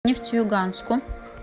нефтеюганску